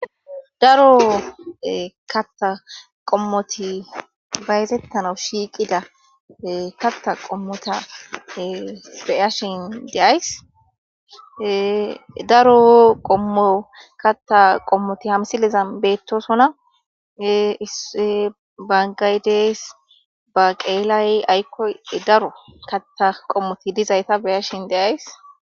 daro katta qommoti bayazettana shiiqida katta qommota beyashin deays daro qommo katta qommoti hamsileza beettosona issi bangay dees baqeelay aykkoy daro katta qommoti dizayta beyashin deyays